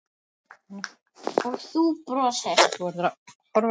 Og þú brosir.